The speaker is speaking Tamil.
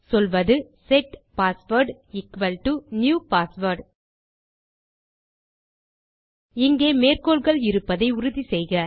சொல்வது set password equal to new password இங்கே மேற்க்கோளகள் இருப்பதை உறுதிசெய்க